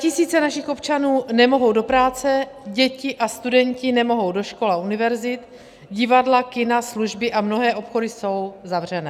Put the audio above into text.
Statisíce našich občanů nemohou do práce, děti a studenti nemohou do škol a univerzit, divadla, kina, služby a mnohé obchody jsou zavřené.